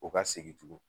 O ka segin tugun